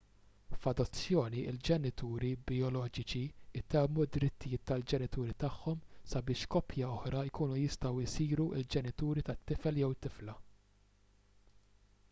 f’adozzjoni il-ġenituri bijoloġiċi itemmu d-drittijiet tal-ġenituri tagħhom sabiex koppja oħra jkunu jistgħu jsiru l-ġenituri tat-tifel/tifla